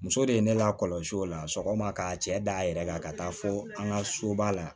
Muso de ye ne lakɔlɔsi o la sɔgɔma ka cɛ d'a yɛrɛ kan ka taa fo an ka soba la